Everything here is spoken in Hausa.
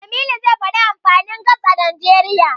Jamilu zai faɗi amfanin Gas a Najeriya.